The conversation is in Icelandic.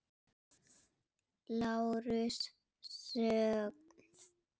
LÁRUS: Þögn!